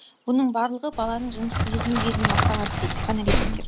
бұның барлығы баланың жыныстық жетілу кезінен басталады дейді психоаналитиктер